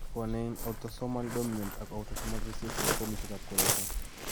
Bwonee eng' autosomal dominant ak autosomal recessive fomisiek ab koroiton